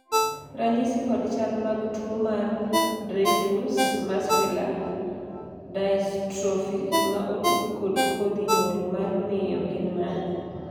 ranyisi kod chal mag tuo mar Dreifuss muscular dystrophy ma otud kod kodhi nyuol mar miyo gin mage?